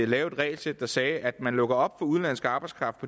lave et regelsæt der sagde at man lukker op for udenlandsk arbejdskraft